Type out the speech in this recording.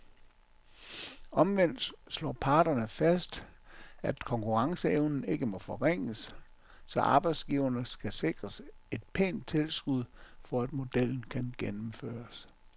Omvendt slår parterne fast, at konkurrenceevnen ikke må forringes, så arbejdsgiverne skal sikres et pænt tilskud, for at modellen kan gennemføres.